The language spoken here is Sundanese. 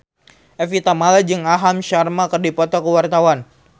Evie Tamala jeung Aham Sharma keur dipoto ku wartawan